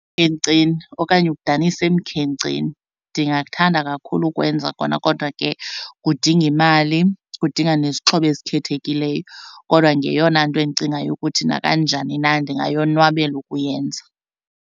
okanye ukudanisa emkhenkceni. Ndingakuthanda kakhulu ukwenza kona kodwa ke kudinga imali, kudinga nezixhobo ezikhethekileyo kodwa ngeyona nto endicingayo ukuthi nakanjani na ndingayonwabela ukuyenza.